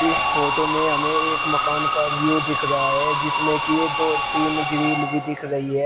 इस फोटो में हमें एक मकान का व्यू दिख रहा है जिसमे की ये दो तीन ग्रिल भी दिख रही है।